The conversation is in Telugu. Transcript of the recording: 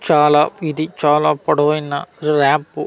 చాలా ఇది చాలా పొడవైన ల్యాంప్ .